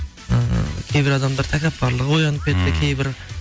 ы кейбір адамдар тәкаппарлығы оянып кетті кейбір